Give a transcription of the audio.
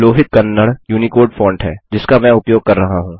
Lohit Kannada Unicode font है जिसका मैं उपयोग कर रहा हूँ